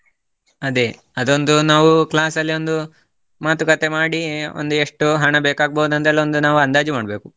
ಅದೇ, ಅದೊಂದು ನಾವು class ಅಲ್ಲೊಂದು ಮಾತುಕತೆ ಮಾಡಿ ಒಂದು ಎಷ್ಟು ಹಣ ಬೇಕಾಗ್ಬೋದು ಅದೆಲ್ಲ ಒಂದು ನಾವು ಅಂದಾಜು ಮಾಡ್ಬೇಕು.